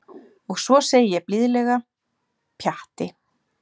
Og svo segi ég blíðlega: Pjatti.